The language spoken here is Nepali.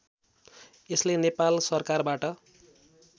यसले नेपाल सरकारबाट